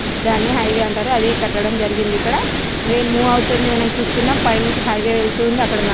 దాని హైవే అంటారు అది కటడం జరిగింది ఇక్కడ. ట్రైన్ మూవ్ అవుతుంది వెనక చూస్తునం. పైన నుంచి హవే వెళ్తుంది. అక్కడ--